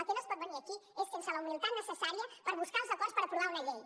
com no es pot venir aquí és sense la humilitat necessària per buscar els acords per aprovar una llei